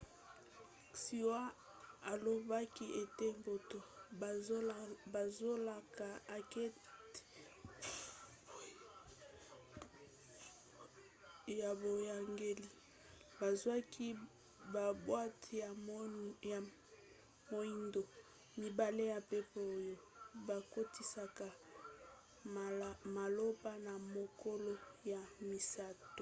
xinhua alobaki ete bato bazosala ankete ya boyangeli bazwaki baboite ya moindo mibale ya mpepo oyo bakotisaka maloba na mokolo ya misato